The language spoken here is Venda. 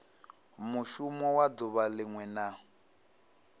mushumo wa duvha linwe na